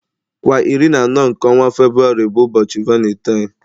Kwa iri na anọ nke Febuwari bụ ụbọchị valentine.